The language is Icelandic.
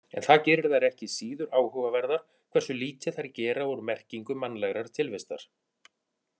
En það gerir þær ekki síður áhugaverðar hversu lítið þær gera úr merkingu mannlegrar tilvistar.